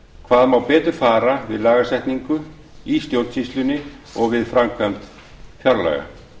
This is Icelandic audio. hvað má betur fara við lagasetningu í stjórnsýslunni og við framkvæmd fjárlaga